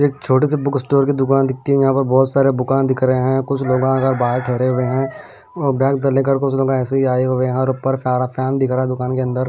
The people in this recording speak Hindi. ये छोटे से बुक स्टोर की दुकान दिखती है यहां पर बहुत सारे दुकान दिख रहे हैं कुछ लोग बाहर ठहरे हुए हैं और ऐसे ही आए हुए हैं और पर दिख रहा है दुकान के अंदर।